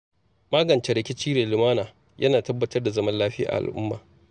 Magance rikici da lumana yana tabbatar da zaman lafiya a al’umma.